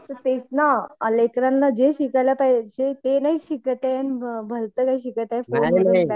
sir तेच ना लेकरांना जे शिकायला पाहिजे ते नाही शिकत येत भलतं काही शिकत आहे